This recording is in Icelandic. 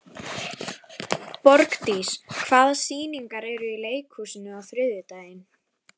Bogdís, hvaða sýningar eru í leikhúsinu á þriðjudaginn?